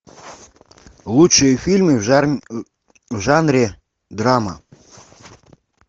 лучшие фильмы в жанре драма